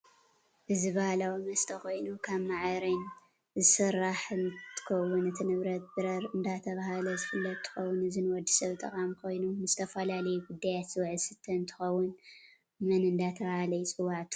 እዚ ባህላዊ መስተ ኮይኑ ካብ ማዕሪን ዝስራሕ ንትከውን እቲ ንብረት ብርረ እዳተበሃለ ዝፍለጥ እንትከውን እዚ ንወድሰብ ጠቃሚ ኮይኑ ንዝተፈላላዩ ጉዳያት ዝውዕል ዝስተ እንትከውን መን እዳተበሃለ ይፅዋዕ ትፈልጢዶ?